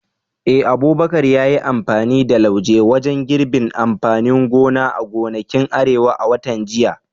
Eh, Abubakar ya yi amfani da slauje wajen girbin amfanin gona a gonakin Arewa a watan jiya.